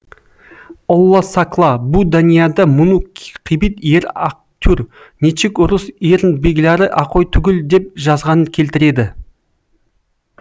олла сакла бу даниада муну қибит еръ акътур нечик урус ерн бегляры акой тугиль деп жазғанын келтіреді